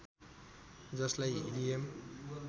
जसलाई हिलियम